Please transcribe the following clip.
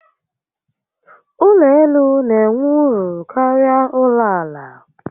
Ụlọ elu n'enwe uru karịa ụlọ àlà